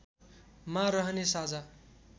मा रहने साझा